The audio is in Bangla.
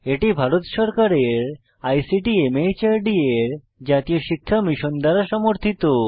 এটি ভারত সরকারের আইসিটি মাহর্দ এর জাতীয় শিক্ষা মিশন দ্বারা সমর্থিত